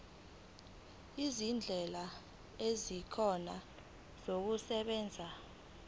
izindlela ezingcono zokusebenza